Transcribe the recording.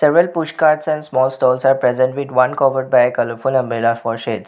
Well push carts and small stalls are present with one covered by a colourful umbrella for shades.